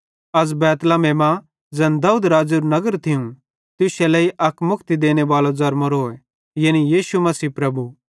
अज़ बैतलहम मां ज़ैन दाऊद राज़ेरू नगर थियूं तुश्शे लेइ अक मुक्ति देनेबालो ज़रमोरोए यानी यीशु मसीह प्रभु